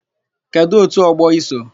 Kedụ òtù ọgbọ i so?